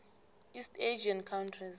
east asian countries